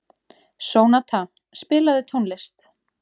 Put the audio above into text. Sónata, spilaðu tónlist.